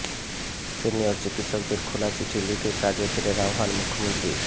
senior চিকিৎসকদের খোলা চিঠি লিখে কাজে ফেরার আহ্বান মুখ্যমন্ত্রীর